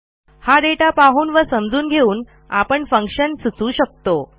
हा दाता पाहून व समजून घेऊन आपण फंक्शन सुचवू शकतो